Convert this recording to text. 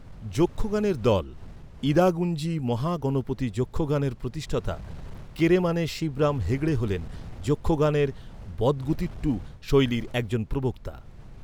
যক্ষগানের দল, ইদাগুঞ্জি মহাগণপতি যক্ষগানের প্রতিষ্ঠাতা কেরেমানে শিবরাম হেগড়ে হলেন যক্ষগানোয বদগুতিট্টু শৈলীর একজন প্রবক্তা।